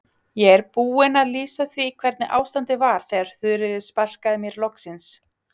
Ég er búinn að lýsa því hvernig ástandið var þegar Þuríður sparkaði mér loksins.